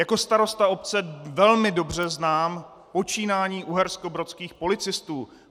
Jako starosta obce velmi dobře znám počínání uherskobrodských policistů.